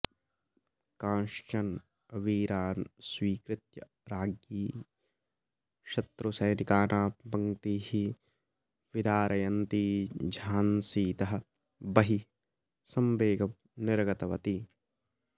कांश्चन वीरान् स्वीकृत्य राज्ञी शत्रुसैनिकानां पङ्क्तीः विदारयन्ती झान्सीतः बहिः सवेगं निर्गतवती